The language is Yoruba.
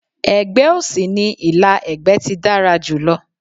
Ẹ̀gbẹ́ òsì ní ìlà ẹ̀gbẹ́ ti dára jùlọ.